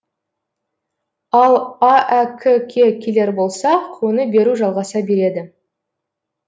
ал аәк ке келер болсақ оны беру жалғаса береді